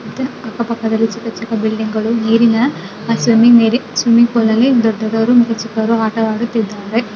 ಅಕ್ಕಪಕ್ಕದಲ್ಲಿ ಚಿಕ್ಕ ಚಿಕ್ಕ ಬಿಲ್ಡಿಂಗ್ ಗಳು ನೀರಿನ ಆ ಸ್ವೀಮಿಯಿಂಗ್ ದೊದ್ದವರು ಚಿಕವರು ಆಟವಾಗುತ್ತಿದರೆ .